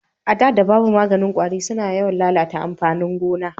A da da babu maganin kwari su na yawan lalata amfanin gona